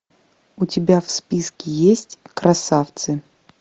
у тебя в списке есть красавцы